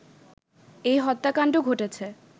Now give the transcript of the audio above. এই হত্যাকান্ড ঘটেছে